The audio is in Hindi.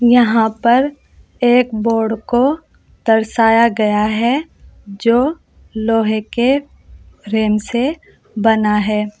यहां पर एक बोर्ड को दर्शाया गया है जो लोहे के फ्रेम से बना है।